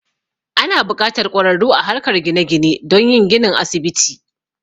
Ana buƙatar ƙwararru a harkar gine gine don yin ginin asibiti.